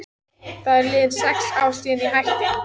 Það eru liðin sex ár síðan ég hætti.